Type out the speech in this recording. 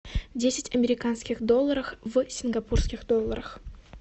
десять американских долларов в сингапурских долларах